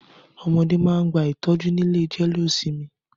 Ọmọdé máà ń gba ìtọ́jú ni ilé jẹ́lé ó sinmi.